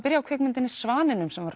byrjum á kvikmyndinni Svaninum sem